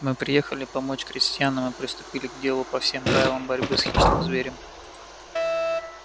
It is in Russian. мы приехали помочь крестьянам и приступили к делу по всем правилам борьбы с хищным зверем